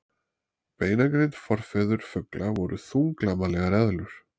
Beinagrind Forfeður fugla voru þunglamalegar eðlur.